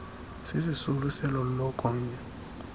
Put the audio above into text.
sisisulu selo lokonya